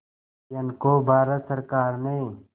कुरियन को भारत सरकार ने